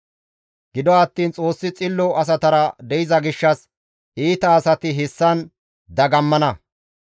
Gido attiin Xoossi xillo asatara de7iza gishshas iita asati hessan dagammana.